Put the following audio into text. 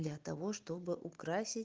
для того чтобы украсить